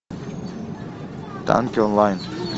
танки онлайн